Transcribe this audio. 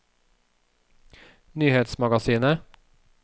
nyhetsmagasinet